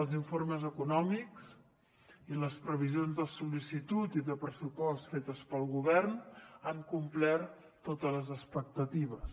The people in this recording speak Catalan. els informes econòmics i les previsions de sol·licitud i de pressupost fetes pel govern han complert totes les expectatives